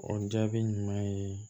O jaabi ɲuman ye